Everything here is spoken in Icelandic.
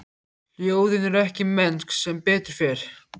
Hljóðin eru ekki mennsk, sem betur fer.